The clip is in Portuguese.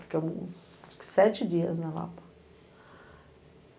Ficamos uns sete dias na Lapa.